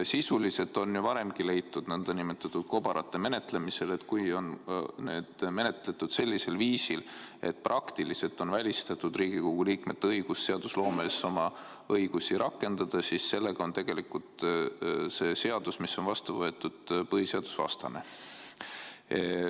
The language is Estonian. Sisuliselt on ju varemgi leitud nn kobarate menetlemisel, et kui need on menetletud sellisel viisil, et praktiliselt on välistatud Riigikogu liikmete võimalus seadusloomes oma õigusi rakendada, siis sellega on tegelikult see vastu võetud seadus põhiseadusvastane.